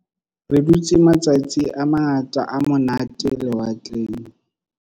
Re dutse matsatsi a mangata a monate lewatleng.